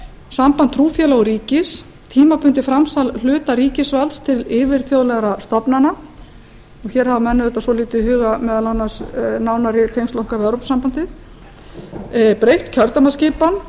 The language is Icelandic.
samband trúfélaga og ríkis tímabundið framsal hluta ríkisvalds til yfirþjóðlegra stofnana hér hafa menn auðvitað hugað svolítið nánar að tengslum okkar við evrópusambandið breytt kjördæmaskipan